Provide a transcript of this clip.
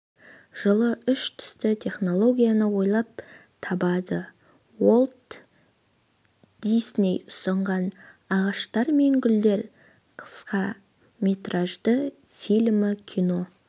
жылы үш түсті технологияны ойлап табады уолт дисней ұсынған ағаштар мен гүлдер қысқаметражды фильмі кино